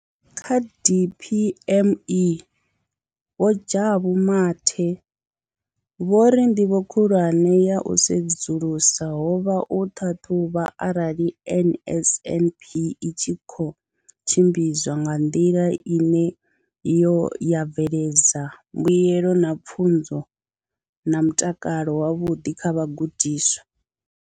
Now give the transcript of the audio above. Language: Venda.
Kha DPME, Vho Jabu Mathe, vho ri nḓivho khulwane ya u sedzulusa ho vha u ṱhaṱhuvha arali NSNP i tshi khou tshimbidzwa nga nḓila ine yo ya bveledza mbuelo dza pfunzo na mutakalo wavhuḓi kha vhagudiswa.